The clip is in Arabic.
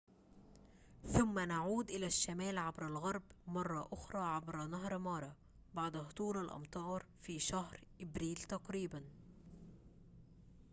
ثم نعود إلى الشمال عبر الغرب مرة أخرى عبر نهر مارا بعد هطول الأمطار في شهر أبريل تقريباً